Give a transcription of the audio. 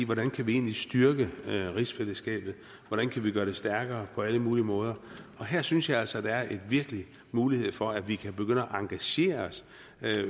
hvordan kan vi egentlig styrke rigsfællesskabet hvordan kan vi gøre det stærkere på alle mulige måder og her synes jeg altså at der virkelig er mulighed for at vi kan begynde at engagere os